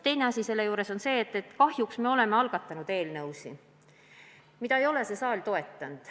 Teine asi on see, et kahjuks me oleme algatanud eelnõusid, mida ei ole see saal toetanud.